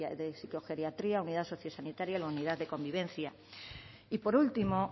de psicogeriatría unidad sociosanitaria o la unidad de convivencia y por último